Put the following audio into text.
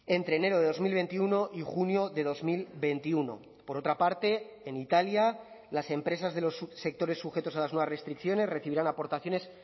entre enero de dos mil veintiuno y junio de dos mil veintiuno por otra parte en italia las empresas de los subsectores sujetos a las nuevas restricciones recibirán aportaciones